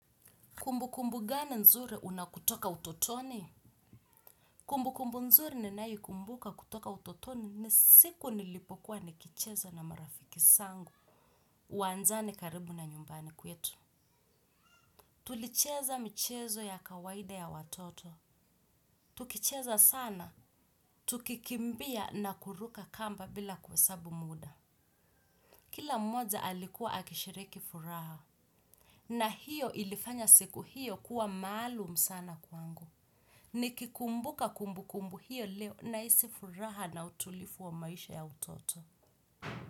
Kumbu kumbu gani nzuri unakutoka utotoni? Kumbu kumbu nzuri ninayoikumbuka kutoka utotoni ni siku nilipokuwa nikicheza na marafiki zangu. Uwanjani karibu na nyumbani kwetu. Tulicheza michezo ya kawaida ya watoto. Tukicheza sana. Tukikimbia na kuruka kamba bila kuhesabu muda. Kila mmoja alikuwa akishiriki furaha. Na hiyo ilifanya siku hiyo kuwa maalum sana kwangu. Nikikumbuka kumbukumbu hiyo leo nahisi furaha na utulivu wa maisha ya utoto.